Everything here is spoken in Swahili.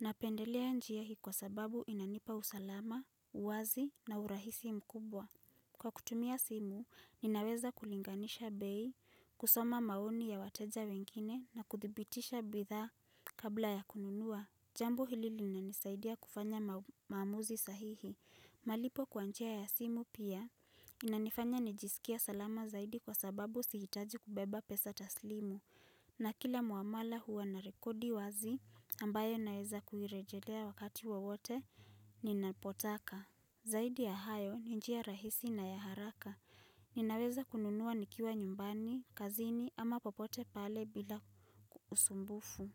Napendelea njia hii kwa sababu inanipa usalama, uwazi na urahisi mkubwa. Kwa kutumia simu, ninaweza kulinganisha bei, kusoma maoni ya wateja wengine na kuthibitisha bidhaa kabla ya kununua. Jambo hili linanisaidia kufanya maamuzi sahihi. Malipo kwa njia ya simu pia. Inanifanya nijisikie salama zaidi kwa sababu sihitaji kubeba pesa taslimu. Na kila muamala huwa narekodi wazi ambayo naweza kuirejelea wakati wowote ninapotaka. Zaidi ya hayo ni njia rahisi na ya haraka. Ninaweza kununua nikiwa nyumbani, kazini ama popote pale bila usumbufu.